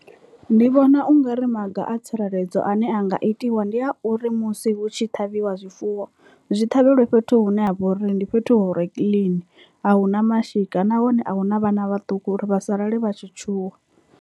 Ndi vhona ungari maga a tsireledzo ane a nga itiwa ndi a uri musi hu tshi ṱhavhiwa zwifuwo zwi ṱhavhelwe fhethu hune ha vha uri ndi fhethu hu re clean ahuna mashika nahone a huna vhana vhaṱuku uri vha sa lale vha tshi tshuwa.